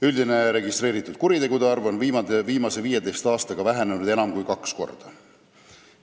Üldine registreeritud kuritegude arv on viimase 15 aastaga vähenenud enam kui kaks korda.